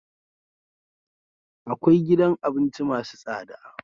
Kkwai gidan abinci masu tsada